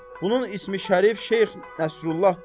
Bunun ismi-şərif Şeyx Nəsrullahdır.